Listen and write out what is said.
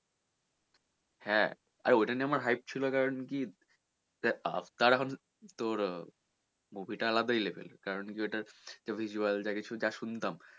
হ্যাঁ আরে ওটা নিয়ে আমার hype ছিল কারন কি দেখ Avatar এখন তোর movie টা আলাদাই level এর কারন কি ওটা তোর visual যা কিছু টা শুনতাম,